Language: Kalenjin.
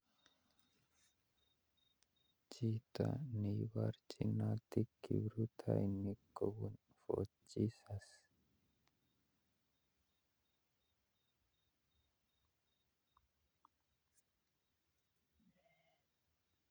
Chito neiborchinote kiprotainik kobun Fort Jesus